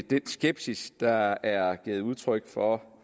den skepsis der er givet udtryk for